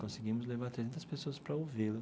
Conseguimos levar trezentas pessoas para ouvi-lo.